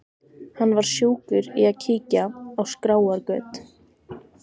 Hann var sjúkur í að kíkja á skráargöt.